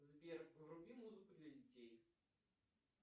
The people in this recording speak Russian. сбер вруби музыку для детей